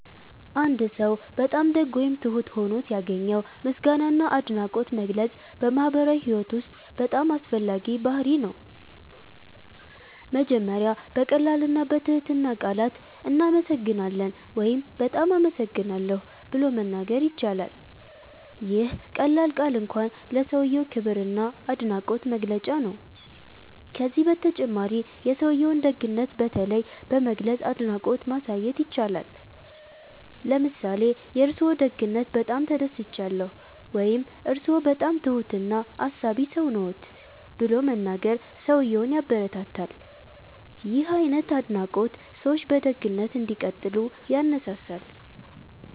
አንድ ሰው በጣም ደግ ወይም ትሁት ሆኖ ሲያገኘው ምስጋና እና አድናቆት መግለጽ በማህበራዊ ህይወት ውስጥ በጣም አስፈላጊ ባህርይ ነው። መጀመሪያ በቀላል እና በትህትና ቃላት “እናመሰግናለን” ወይም “በጣም አመሰግናለሁ” ብሎ መናገር ይቻላል። ይህ ቀላል ቃል እንኳን ለሰውዬው ክብር እና አድናቆት መግለጫ ነው። ከዚህ በተጨማሪ የሰውዬውን ደግነት በተለይ በመግለጽ አድናቆት ማሳየት ይቻላል። ለምሳሌ “የእርስዎ ደግነት በጣም ተደስቻለሁ” ወይም “እርስዎ በጣም ትሁት እና አሳቢ ሰው ነዎት” ብሎ መናገር ሰውዬውን ያበረታታል። ይህ አይነት አድናቆት ሰዎች በደግነት እንዲቀጥሉ ያነሳሳል።